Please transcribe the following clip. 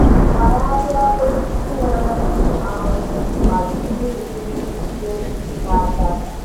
Fagharịa osisi nwere ụmụ ahụhụ ma jiri ụgbụ jide ndị na-adaba.